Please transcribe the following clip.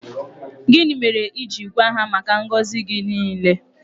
Gịnị mere i ji gwa ha maka ngọzị gị niile?